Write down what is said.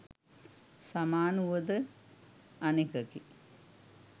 සමාන වුව ද අනෙකකි.